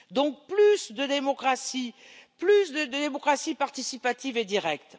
Donc, plus de démocratie, plus de démocratie participative et directe.